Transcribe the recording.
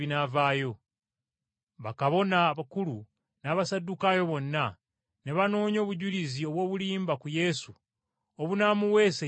Bakabona abakulu n’Abasaddukaayo bonna ne banoonya obujulizi obw’obulimba ku Yesu obunamuweesa ekibonerezo eky’okufa.